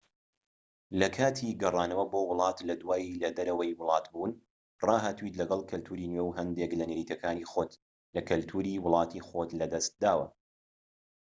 لە کاتی گەڕانەوە بۆ وڵات لە دوای لە دەرەوەی وڵات بوون ڕاهاتوویت لەگەڵ کەلتوری نوێ و هەندێک لە نەریتەکانی خۆت لە کەلتوری وڵاتی خۆت لە دەستداوە